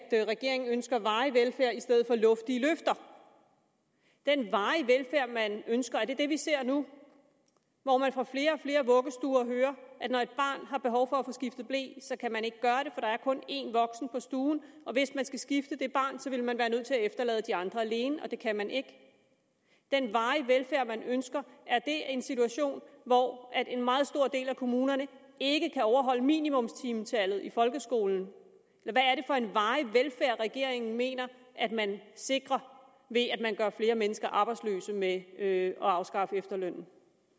regeringen ønsker varig velfærd i stedet for luftige løfter den varige velfærd man ønsker er det det vi ser nu hvor man fra flere og flere vuggestuer hører at når et barn har behov for at få skiftet ble så kan man ikke gøre det for der er kun én voksen på stuen og hvis man skal skifte det barn vil man være nødt til at efterlade de andre alene og det kan man ikke den varige velfærd man ønsker er det en situation hvor en meget stor del af kommunerne ikke kan overholde minimumstimetallet i folkeskolen hvad er det for en varig velfærd regeringen mener at man sikrer ved at man gør flere mennesker arbejdsløse med at afskaffe efterlønnen